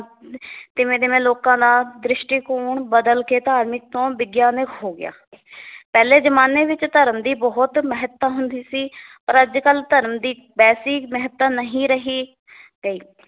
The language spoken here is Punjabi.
ਤਿਵੇਂ ਤਿਵੇਂ ਲੋਕਾਂ ਦਾ ਦ੍ਰਿਸ਼ਟੀਕੋਣ ਬਦਲ ਕੇ ਧਾਰਮਿਕ ਤੋਂ ਵਿਗਿਆਨਿਕ ਹੋ ਗਿਆ ਪਹਿਲੇ ਜਮਾਨੇ ਵਿੱਚ ਧਰਮ ਦੀ ਬਹੁਤ ਮਹੱਤਤਾ ਹੁੰਦੀ ਸੀ ਪਰ ਅੱਜ ਕੱਲ ਧਰਮ ਦੀ ਵੈਸੀ ਮਹੱਤਤਾ ਨਹੀ ਰਹੀ ਗਈ